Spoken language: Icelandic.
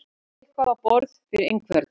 Að bera eitthvað á borð fyrir einhvern